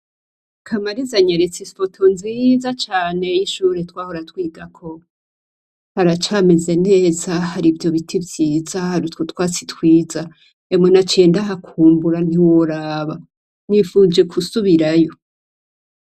Kamariza anyeretse ifoto nziza cane y'ishure twahora twigako. Haracameze neza, hari ivyo biti vyiza, hari utwo twatsi twiza. Emwe naciye ndahakumbura ntiworaba, nifuje gusubirayo